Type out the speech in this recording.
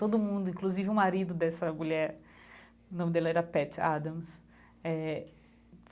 Todo mundo, inclusive o marido dessa mulher, nome dele era Patch Adams eh.